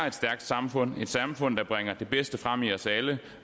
et stærkt samfund et samfund der bringer det bedste frem i os alle